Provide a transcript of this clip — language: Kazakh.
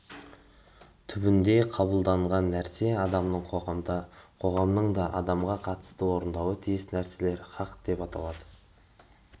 түрінде қабылданған нәрсе адамның қоғамға қоғамның да адамға қатысты орындауы тиіс нәрселер хақ деп аталады